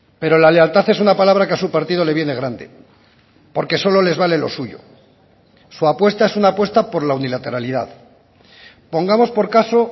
pero la lealtad es una palabra que a su partido le viene grande porque solo les vale lo suyo su apuesta es una apuesta por la unilateralidad pongamos por caso